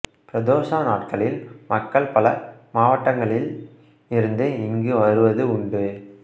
பிரதோஷ நாட்களில் மக்கள் பல மாவட்டங்களில் இருந்து இங்கு வருவது உண்டு